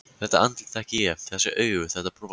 Þetta andlit þekki ég: Þessi augu, þetta bros.